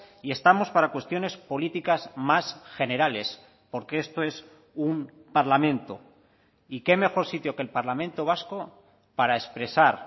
y estamos para cuestiones políticas más generales porque esto es un parlamento y qué mejor sitio que el parlamento vasco para expresar